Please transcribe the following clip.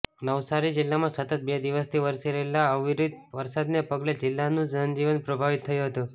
નવસારી જિલ્લામાં સતત બે દિવસથી વરસી રહેલા અવિરત વરસાદને પગલે જિલ્લાનું જનજીવન પ્રભાવિત થયું હતું